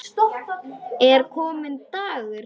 Er kominn dagur?